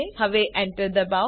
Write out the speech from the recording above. હવે Enter દબાવો